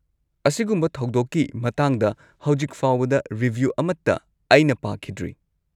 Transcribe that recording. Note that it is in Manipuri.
ꯑꯁꯤꯒꯨꯝꯕ ꯊꯧꯗꯣꯛꯀꯤ ꯃꯇꯥꯡꯗ ꯍꯧꯖꯤꯛ ꯐꯥꯎꯕꯗ ꯔꯤꯚ꯭ꯌꯨ ꯑꯃꯠꯇ ꯑꯩꯅ ꯄꯥꯈꯤꯗ꯭ꯔꯤ꯫